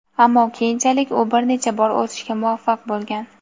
ammo keyinchalik u bir necha bor o‘sishga muvaffaq bo‘lgan.